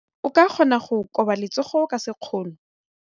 O ka kgona go koba letsogo ka sekgono.